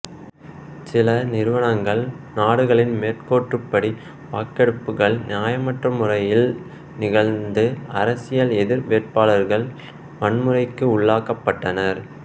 சில நிறுவனங்கள் நாடுகளின் மேற்கோற்படி வாக்கெடுப்புகள் நியாயமற்ற முறையில் நிகழ்ந்து அரசியல் எதிர் வேட்பாளர்கள் வன்முறைக்கு உள்ளாக்கப்பட்டனர்